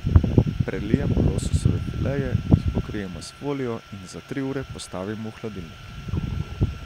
Prelijemo lososove fileje, jih pokrijemo s folijo in za tri ure postavimo v hladilnik.